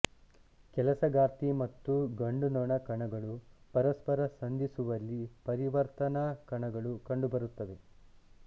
ಕೆಲಸಗಾರ್ತಿ ಮತ್ತು ಗಂಡುನೊಣ ಕಣಗಳು ಪರಸ್ಪರ ಸಂಧಿಸುವಲ್ಲಿ ಪರಿವರ್ತನಾ ಕಣಗಳು ಕಂಡುಬರುತ್ತವೆ